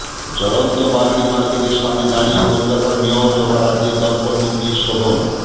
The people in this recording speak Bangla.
জ্বলন্ত বাগড়ি মার্কেটের সামনে দাঁড়িয়ে কলকাতার মেয়র তথা রাজ্যের দমকল মন্ত্রী শোভন